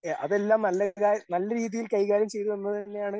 അതെല്ലാം നല്ല കാ നല്ല രീതിയിൽ കൈകാര്യം ചെയ്തു എന്ന് തന്നെയാണ്.